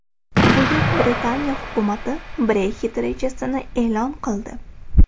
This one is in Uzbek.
Buyuk Britaniya hukumati Brexit rejasini e’lon qildi.